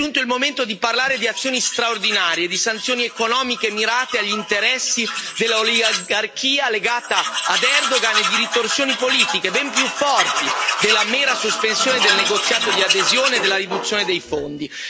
È giunto il momento di parlare di azioni straordinarie e di sanzioni economiche mirate agli interessi dell'oligarchia legata ad Erdogan e di ritorsioni politiche ben più forti della mera sospensione del negoziato di adesione e della riduzione dei fondi.